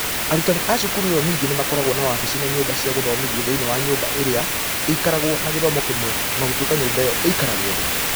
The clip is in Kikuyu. Arutani a cukuru ĩyo ningĩ nĩ makoragwo na wabici na nyũmba cia gũthomethia thĩinĩ wa nyũmba ĩrĩa ĩikaragwo na gĩthomo kĩmwe, o na gũtuĩka nyũmba ĩyo ĩikaragwo thĩ.